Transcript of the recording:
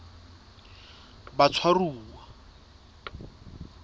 batshwaruwa